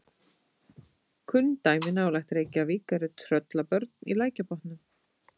Kunn dæmi nálægt Reykjavík eru Tröllabörn í Lækjarbotnum.